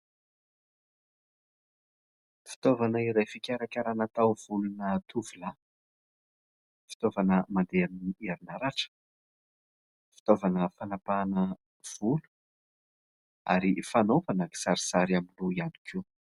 Fitaovana iray fikarakarana taovolona tovolahy, fitaovana mandeha amin'ny herinaratra, fitaovana fanapahana ny volo ary fanaovana kisarisary amin'ny loha ihany koa.